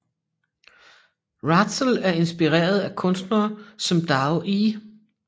Rahzel er inspireret af kunstnere som Doug E